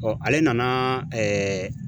ale nana ɛɛ